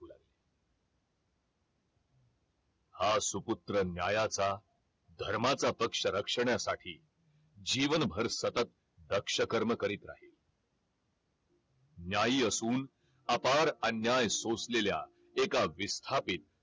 हा सुपुत्र न्यायाचा धर्माचा पक्ष रक्षण्यासाठी जीवनभर सतत रक्ष कर्म करीत राहील न्यायी असून अपार अन्याय सोसलेल्या एका विस्थापित